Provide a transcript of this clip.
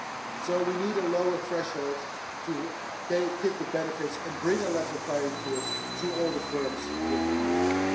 So we need a lower threshold to give benefits and bring a level playing field to all the firms within Europe.